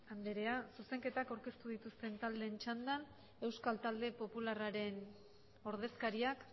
andrea zuzenketak aurkeztu dituzten taldeen txandan euskal talde popularraren ordezkariak